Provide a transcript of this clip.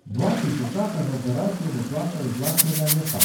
Dva tisočaka za operacijo bo plačal iz lastnega žepa.